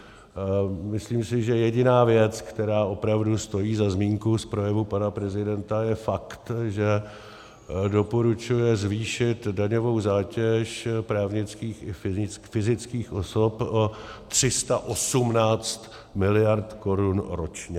Myslím si, že jediná věc, která opravdu stojí za zmínku z projevu pana prezidenta, je fakt, že doporučuje zvýšit daňovou zátěž právnických i fyzických osob o 318 mld. korun ročně.